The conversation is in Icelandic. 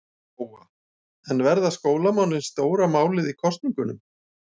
Lóa: En verða skólamálin stóra málið í kosningunum?